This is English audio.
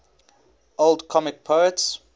old comic poets